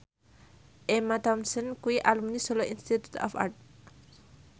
Emma Thompson kuwi alumni Solo Institute of Art